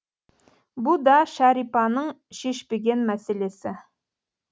бұ да шәрипаның шешпеген мәселесі